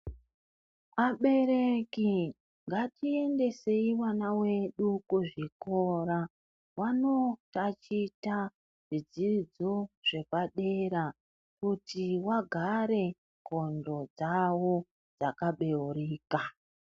Abereki ngatiendesei vana vedu kuzvikora vanotaticha zvidzidzo zvepadera kuti vagare ndxondo dzavo dzaka beurika.